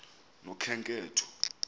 nokhenketho